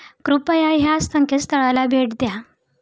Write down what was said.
कृपया या संकेतस्थळाला भेट द्या.